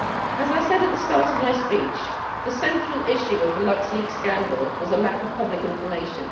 As I said at the start of my speech, the central issue of the Luxleaks scandal was the lack of public information.